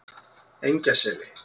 Engjaseli